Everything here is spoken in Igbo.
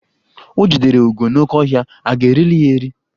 O jidere ugo n'oke ọhịa, a ga erili ya eri?